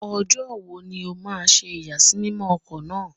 Ọjọ́ wo ni ó ma ṣe ìyàsímímọ́ ọkọ̀ titun náà?